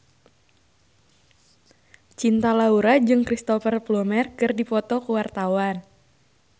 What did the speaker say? Cinta Laura jeung Cristhoper Plumer keur dipoto ku wartawan